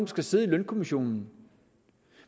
skal sidde i lønkommissionen